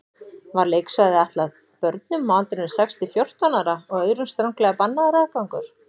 Var leiksvæðið ætlað börnum á aldrinum sex til fjórtán ára og öðrum stranglega bannaður aðgangur.